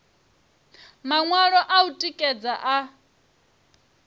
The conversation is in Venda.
maṅwalo a u tikedza a